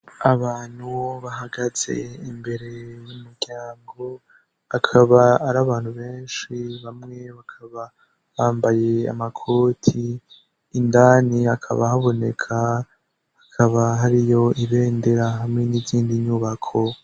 Abantu bahagaze imbere y'umuryango, akaba ari abantu benshi bamwe bakaba bambaye amakoti. Indani hakaba haboneka, hakaba hariyo ibendera hamwe n'izindi nyubako.